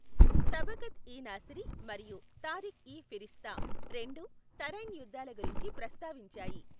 తబకత్ ఇ నాసిరి మరియు తారిఖ్ ఇ ఫిరిష్తా, రెండు తరైన్ యుద్ధాల గురించి ప్రస్తావించాయి.